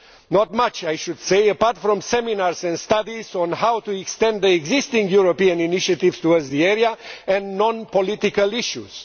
Not much, I should say, apart from seminars and studies on how to extend the existing European initiatives towards the area and non political issues.